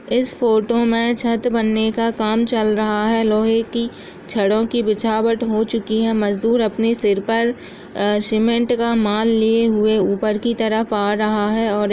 इस फोटो में छत बनने का काम चल रहा है लोहे की छड़ों की बिछावट हो चुकी है। मज़दूर अपने सिर पर अ सीमेंट का माल लिए हुए ऊपर की तरफ आ रहा है और --